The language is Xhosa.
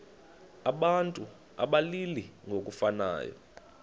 abantu abalili ngokufanayo